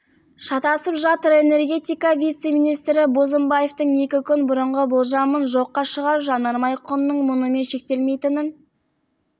шатасып жатыр энергетика вице-министрі бозымбаевтың екі күн бұрынғы болжамын жоққа шығарып жанармай құнының мұнымен шектелмейтінін